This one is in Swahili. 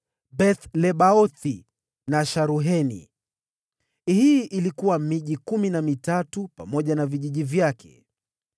Beth-Lebaothi na Sharuheni; hii ilikuwa miji kumi na mitatu pamoja na vijiji vyake.